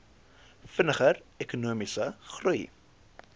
vinniger ekonomiese groei